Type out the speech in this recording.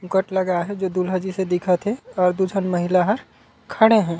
घूँघट लगाए हे जे दुल्हा जइसे दिखत हे अऊ दु झन महिला ह खड़े हे।